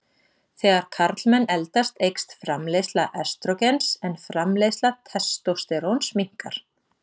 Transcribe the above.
Þegar karlmenn eldast eykst framleiðsla estrógens en framleiðsla testósteróns minnkar.